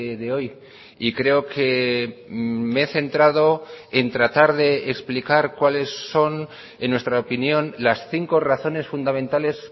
de hoy y creo que me he centrado en tratar de explicar cuales son en nuestra opinión las cinco razones fundamentales